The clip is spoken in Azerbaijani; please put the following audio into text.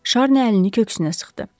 Şarni əlini köksünə sıxdı.